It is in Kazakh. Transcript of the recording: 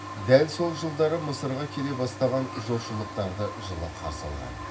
дәл сол жылдары мысырға келе бастаған жошылықтарды жылы қарсы алған